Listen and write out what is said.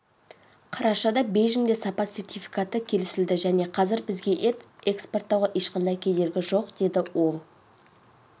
қарашада бейжіңде сапа сертификаты келісілді және қазір бізге ет экспорттауға ешқандай кедергі жоқ деді ол